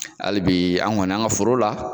Hali bi an kɔni an ka foro la.